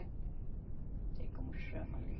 Não sei como chama ali.